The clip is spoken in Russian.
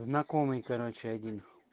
знакомый короче один